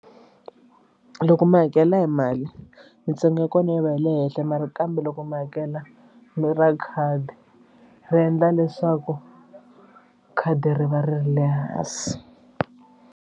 Loko mi hakela hi mali mintsengo ya kona yi va yi le henhla mara kambe loko mi hakela mi ra khadi ri endla leswaku khadi ri va ri ri le hansi.